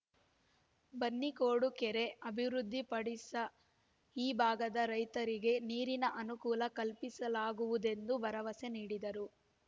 ಬನ್ನಿಕೋಡು ಕೆರೆ ಅಭಿವೃದ್ಧಿ ಪಡಿಸ ಈ ಭಾಗದ ರೈತರಿಗೆ ನೀರಿಗೆ ಅನುಕೂಲ ಕಲ್ಪಿಸಲಾಗುವುದೆಂದು ಭರವಸೆ ನೀಡಿದರು